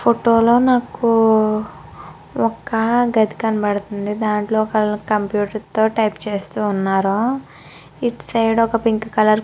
ఈ ఫోటో లో ఒక నాకు ఒక గది కనబడతుంది దాంట్లో కంప్యూటర్ తో టైపు చేస్తూ ఉన్నారు ఇటు సైడ్ పింక్ కలర్ --